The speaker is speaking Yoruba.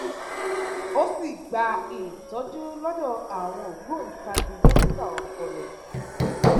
ó sì ń gba ìtójú lódò àwọn ògbóǹtagì dókítà ọpọlọ